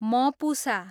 Mapusa